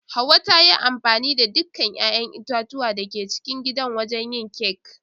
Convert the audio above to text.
Hauwa ta yi amfani da dukkan 'ya'yan itatuwa da ke cikin gidan wajen yin kek.